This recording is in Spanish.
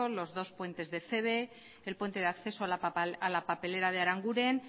los dos puentes de feve el puente de acceso a la papelera de aranguren